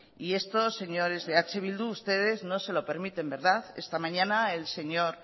y esto señores de eh bildu ustedes no se lo permiten verdad esta mañana el señor